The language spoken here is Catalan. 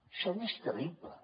això no és creïble